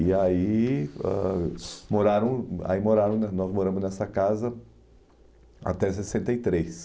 E aí ãh moraram ai moraram no nos moramos nessa casa até sessenta e três